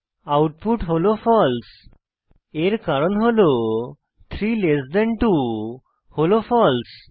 output হল false এর কারণ হল 32 হল ফালসে